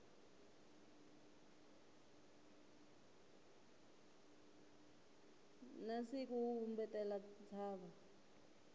na siku wu vumbetela ntshava